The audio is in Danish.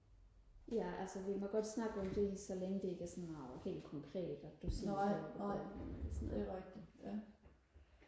ja altså vi må godt snakke om det lige så længe det ikke er sådan noget helt konkret at du siger hvor du bor henne og sådan noget